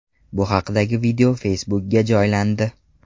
Bu haqdagi video Facebook’ga joylandi .